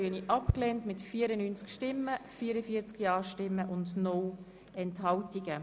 Sie haben den Rückweisungsantrag mit 44 Ja- gegen 94 Nein-Stimmen bei 0 Enthaltung abgelehnt.